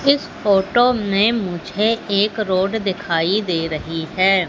इस फोटो में मुझे एक रोड दिखाई दे रही है।